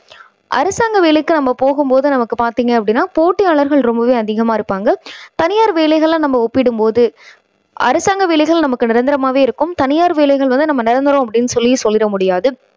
அரசாங்க வேலைக்கு நம்ப போகும் போது நமக்கு பாத்தீங்க அப்படின்னா போட்டியாளர்கள் ரொம்பவே அதிகமா இருப்பாங்க. தனியார் வேலைகளை நம்ம ஒப்பிடும் போது அரசாங்க வேலைகள் நமக்கு நிரந்தரமாவே இருக்கும். தனியார் வேலைகள் வந்து நம்ம நிரந்தரம் அப்படின்னு சொல்லி சொல்லி விட முடியாது.